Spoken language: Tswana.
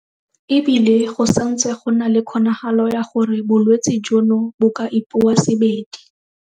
E bile go santse go na le kgonagalo ya gore bolwetse jono bo ka ipoasebedi.